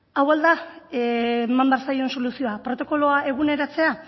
hau ahal da eman behar zaion soluzio protokoloa eguneratzea